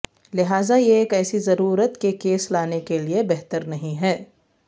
لہذا یہ ایک ایسی ضرورت کے کیس لانے کے لئے بہتر نہیں ہے